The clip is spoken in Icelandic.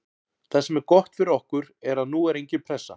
Það sem er gott fyrir okkur er að nú er engin pressa.